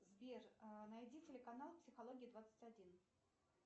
сбер найди телеканал психология двадцать один